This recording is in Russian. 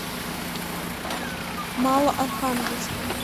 малоархангельском